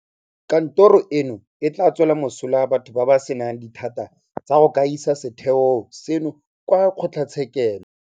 Kantoro eno e tla tswela mosola batho ba ba senang dithata tsa go ka isa setheo seno kwa kgotlatshekelo.